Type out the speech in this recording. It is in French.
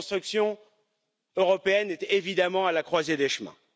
La construction européenne est évidemment à la croisée des chemins.